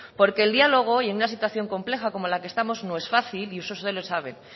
porque el diálogo y en una situación compleja como la que estamos no es fácil y eso usted lo sabe